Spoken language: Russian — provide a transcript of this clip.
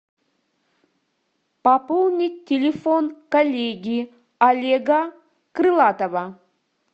пополнить телефон коллеги олега крылатова